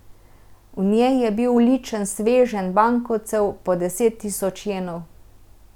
V njej je bil ličen sveženj bankovcev po deset tisoč jenov.